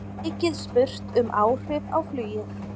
Mikið spurt um áhrif á flugið